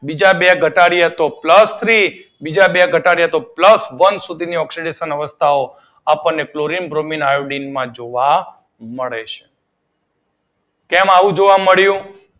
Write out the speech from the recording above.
જા બે ઘટાડીએ તો પ્લસ થ્રી, બીજા બે ઘટાડી એ તો પ્લસ વન સુધીની ઓક્સીડેશન અવસ્થાઓ આપડને ક્લોરીન, બ્રોમીન, આયોડીન માં જોવા મળે છે. કેમ આવું જોવા મળીયું?